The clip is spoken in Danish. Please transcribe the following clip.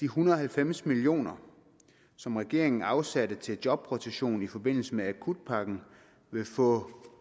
hundrede og halvfems million kr som regeringen har afsat til jobrotation i forbindelse med akutpakken vil få